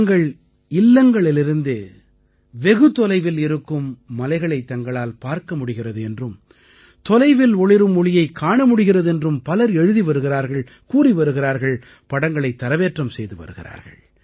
தங்கள் இல்லங்களிலிருந்தே வெகு தொலைவில் இருக்கும் மலைகளைத் தங்களால் பார்க்க முடிகிறது என்றும் தொலைவில் ஒளிரும் ஒளியைக் காண முடிகிறது என்றும் பலர் எழுதி வருகிறார்கள் கூறி வருகிறார்கள் படங்களை தரவேற்றம் செய்து வருகிறார்கள்